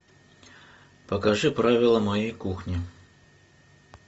покажи правила моей кухни